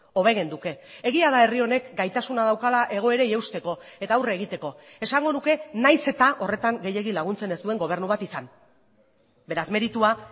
hobe genuke egia da herri honek gaitasuna daukala egoerei eusteko eta aurre egiteko esango nuke nahiz eta horretan gehiegi laguntzen ez duen gobernu bat izan beraz meritua